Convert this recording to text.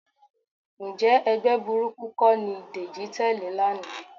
Ǹjẹ́ ẹgbẹ́ burúkú kọ́ ni Dèjì tẹ̀lé lánàá?